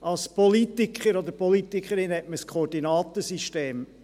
Als Politiker oder Politikerin hat man ein Koordinatensystem.